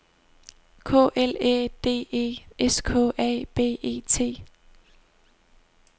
K L Æ D E S K A B E T